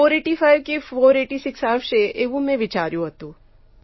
485 કે 486 આવશે એવું મેં વિચાર્યું હતું